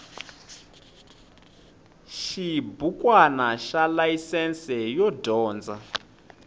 xibukwana xa layisense yo dyondza